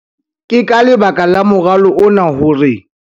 Ke ka lebaka la moralo ona hore